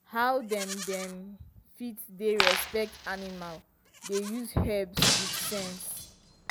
how dem dem fit dey respect animal dey use herbs with sense.